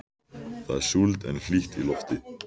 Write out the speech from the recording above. Það er súld en hlýtt í lofti.